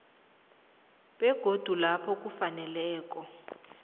begodu lapho kufaneleko